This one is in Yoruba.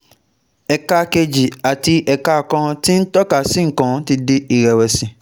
ẹ̀ka kejì àti ẹ̀ka kan tí ń tọ́ka sí nǹkan ti di ìrẹ̀wẹ̀sì